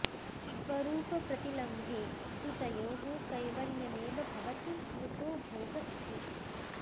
स्वरूपप्रतिलम्भे तु तयोः कैवल्यमेव भवति कुतो भोग इति